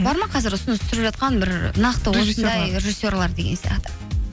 бар ма қазір ұсыныс түсіп жатқан бір нақты режиссерлер деген сияқты